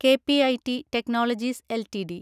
K P I T Technologies LTD